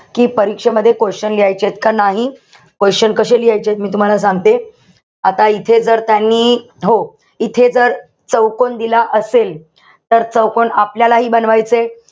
कि परीक्षेमध्ये question लिहायचेत का नाही. Question कशे लिहायचेत मी तुम्हाला सांगते. आता इथे जर त्यांनी, हो, त्यांनी जर चौकोन दिला असेल, तर चौकोन आपल्यालाही बनवायचंय.